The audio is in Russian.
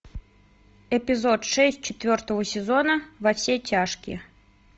эпизод шесть четвертого сезона во все тяжкие